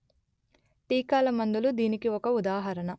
టీకాల మందులు దీనికి ఒక ఉదాహరణ